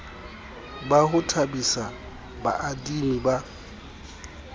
ba ho thabisa baadimi ba